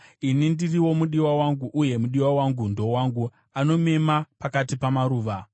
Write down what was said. Ini ndiri womudiwa wangu uye mudiwa wangu ndowangu; anomema pakati pamaruva.